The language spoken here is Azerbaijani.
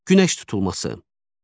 Günəş tutulması.